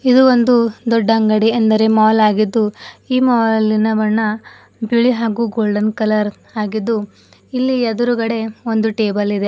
ಇದು ಒಂದು ದೊಡ್ಡ ಅಂಗಡಿ ಅಂದರೆ ಮಾಲ್ ಆಗಿದ್ದು ಈ ಮಾಲಿನ ಬಣ್ಣ ಬಿಳಿ ಹಾಗು ಗೋಲ್ಡನ್ ಕಲರ್ ಆಗಿದ್ದು ಇಲ್ಲಿ ಎದುರುಗಡೆ ಒಂದು ಟೇಬಲ ಇದೆ.